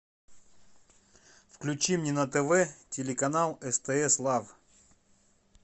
включи мне на тв телеканал стс лав